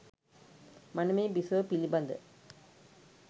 මනමේ බිසව පිළිබඳ